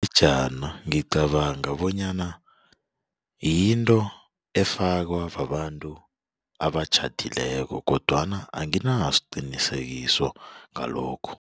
Ingejana ngicabanga bonyana yinto efakwa babantu abatjhadileko kodwana anginasiqinisekiso ngalokho.